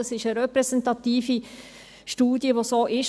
Es ist eine repräsentative Studie, die so ist.